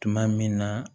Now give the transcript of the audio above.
Tuma min na